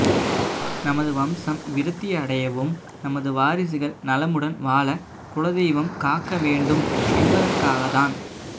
நமது வம்சம் விருத்தி அடையவும் நமது வாரிசுகள் நலமுடன் வாழ குலதெய்வம் காக்க வேண்டும் என்பதாற்காக தான்